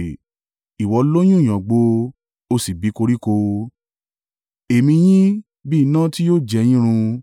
Ìwọ lóyún ìyàngbò, o sì bí koríko; èémí yín bí iná tí yóò jẹ yín run.